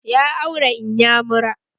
Ya aure inyamura